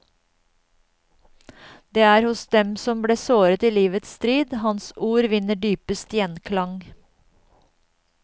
Det er hos dem som ble såret i livets strid, hans ord vinner dypest gjenklang.